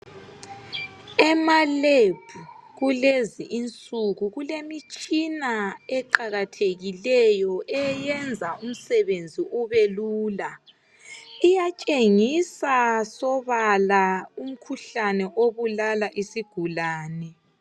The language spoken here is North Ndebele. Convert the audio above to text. Emalebhu kulezi insuku kulemitshina eqakathekileyo eyenza umsebenzi ubelula. Iyatshengisa sobala umkhuhlane obulala isigulani.